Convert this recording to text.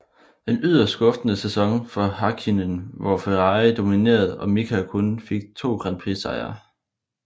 En yderst skuffende sæson for Häkkinen hvor Ferrari dominerede og Mika kun fik 2 grand prix sejre